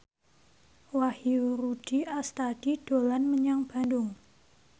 Wahyu Rudi Astadi dolan menyang Bandung